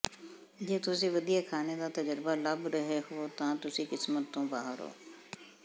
ਜੇ ਤੁਸੀਂ ਵਧੀਆ ਖਾਣੇ ਦਾ ਤਜਰਬਾ ਲੱਭ ਰਹੇ ਹੋ ਤਾਂ ਤੁਸੀਂ ਕਿਸਮਤ ਤੋਂ ਬਾਹਰ ਹੋ